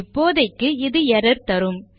இப்போதைக்கு இது எர்ரர் தரும்